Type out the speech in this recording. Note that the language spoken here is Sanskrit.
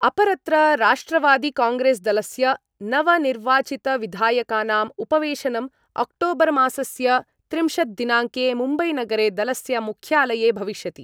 अपरत्र राष्ट्रवादिकांग्रेस्दलस्य नवनिर्वाचितविधायकानाम् उपवेशनम् अक्टोबरमासस्य त्रिंशद्दिनाङ्के मुम्बैनगरे दलस्य मुख्यालये भविष्यति।